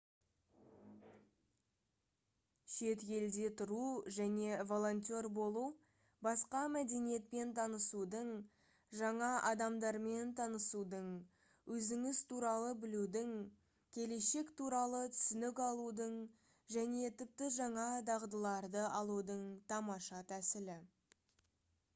шет елде тұру және волонтер болу басқа мәдениетпен танысудың жаңа адамдармен танысудың өзіңіз туралы білудің келешек туралы түсінік алудың және тіпті жаңа дағдыларды алудың тамаша тәсілі